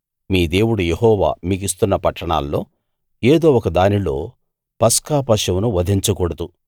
మీ దేవుడు యెహోవా మీకిస్తున్న పట్టణాల్లో ఏదో ఒక దానిలో పస్కా పశువును వధించకూడదు